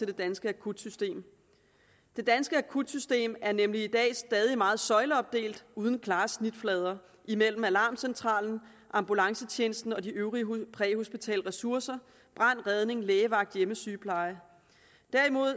det danske akutsystem det danske akutsystem er nemlig i dag stadig meget søjleopdelt uden klare snitflader mellem alarmcentral ambulancetjeneste og de øvrige præhospitale ressourcer brand redning lægevagt hjemmesygepleje tværtimod